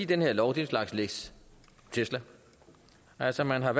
den her lov er en slags lex tesla altså man har